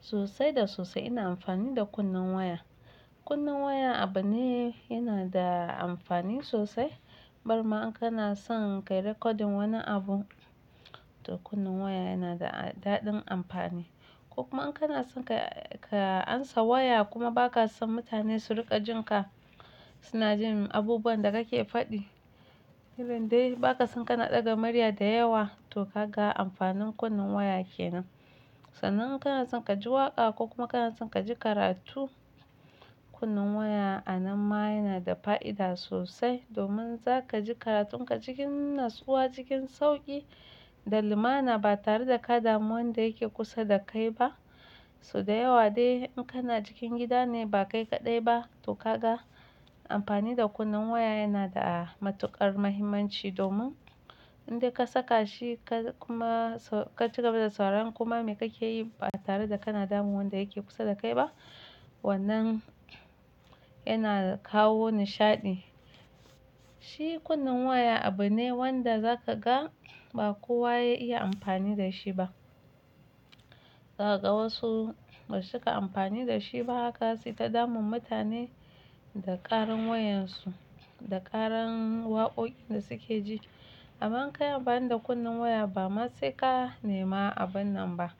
Sosai da sosai ina amfani da kunnen waya. Kunnen waya abu ne yana da amfani sosai. Barma in kana son ka yi recording wani abu, to kunnen waya yana da dadin amfani. Ko kuma in kana son ka, ka ansa waya kuma ba ka son mutane su rika jin ka, suna jin abubuwan da kake faɗi. Irin dai ba ka son ka na ɗaga murya da yawa, to ga amfanin kunnen waya kenan. Sannan in kana son ka ji waƙa ko kuma kana son ka ji karatu, kunnen waya a nan ma yana da fa'ida sosai. Domin za ka ji karatun ka cikin natsuwa, cikin sauƙi da lumana ba tare da ka damu wanda yake kusa da kai ba. So da yawa dai in kana cikin gida ne ba kai kaɗai ba, to ga amfani da kunnen waya yana da matuƙar muhimmanci domin in dai ka saka shi ka kuma ka ci gaba da sauraron koma me kake yi ba tare da kana damun wanda yake kusa da kai ba. Wannan yana kawo nishaɗi. Shi kunnen waya abu ne wanda za ka ga ba kowa ya iya amfani da shi ba. Za ka ga wasu ba su cika amfani da shi ba haka su ta damun mutane da ƙarin wayan su, da ƙaran waƙoƙin da suke ji. Amma in kai amfani da kunnen waya ba ma saika ne ma abun nan ba.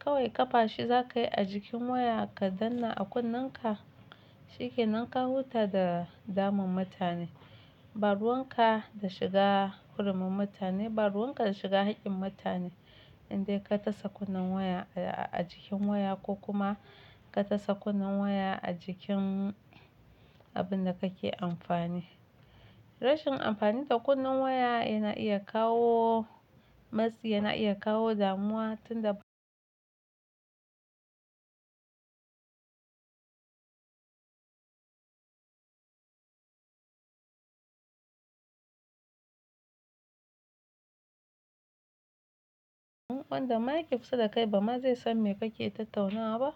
Kawai ƙafa shi za ka yi a jikin waya ka danna a kunnen ka, shi ke nan ka huta da damun mutane. Ba ruwan ka da shiga hurumin mutane, ba ruwan ka da shiga haƙƙin mutane. In dai ka tasa kunnen waya a jikin waya ko kuma ka tasa kunnen waya a jikin abun da kake amfani. Rashin amfani da kunnen waya yana iya kawo matsi, yana iya kawo damuwa tun da wanda yake kusa da kai ba ma zai san me kake tattaunawa ba.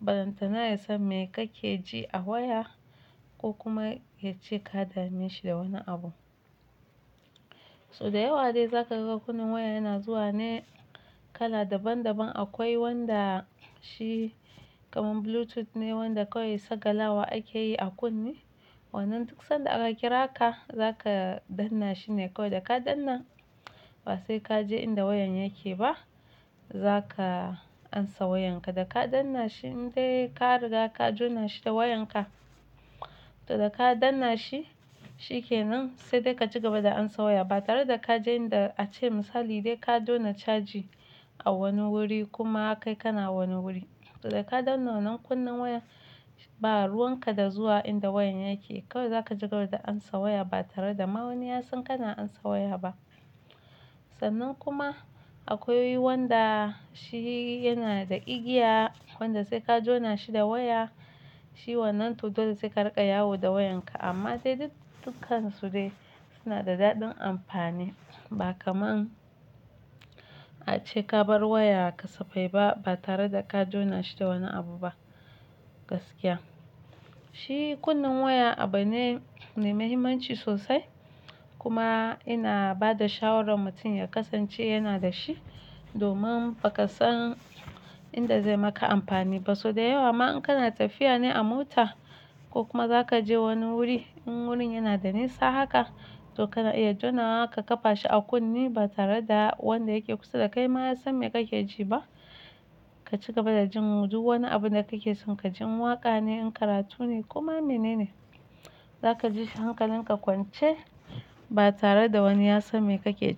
Ballantana ya san me kake ji a waya ko kuma ya ce ka dame shi da wani abu. So da yawa dai za ka ga kunnen waya yana zuwa ne kala daban daban. Akwai wanda shi kaman Bluetooth ne, wanda kawai sagala wa ake yi a kunne. Wannan duk sanda aka kira ka, za ka danna shi ne kawai da ka danna. Ba sai ka je inda wayan yake ba. Za ka amsa wayan ka da ka danna shi. In dai ka riga ka jona shi da wayan ka, to da ka danna shi shi ke nan sai dai ka ci gaba da amsa waya ba tare da ka je inda ace misali dai ka jona caji a wani wuri kuma kai ka na wani wuri. To da ka danna wannan kunnen waya, ba ruwan ka da zuwa inda wayan yake. Kawai za ka ci gaba da amsa waya ba tare da ma wani ya san kana amsa waya ba. Sannan kuma akwai wanda shi yana da igiya, wanda sai ka jona shi da waya. Shi wannan to dole sai ka riƙa yawo da wayan ka. Amma dai duk, dukkansu dai suna da dadin amfani ba kamar an ace ka bar wayar ka safai ba, ba tare da ka jona shi da wani abu ba gaskiya. Shi kunnen waya abu ne mai muhimmanci sosai kuma ina ba da shawarar mutum ya kasance yana da shi domin ba ka san inda zai maka amfani ba. So da yawa ma in kana tafiya ne a mota ko kuma za ka je wani wuri, in wurin yana da nisa haka, to kana iya jona wa ka ƙafa shi a kunne ba tare da wanda yake kusa da kai ma ya san me kake ji ba. Ka ci gaba da jin duk wani abu da kake jin ka jin waƙa ne, in karatu ne kuma menene. Za ka ji shi hankalin ka kwance ba tare da wani ya san me kake ji.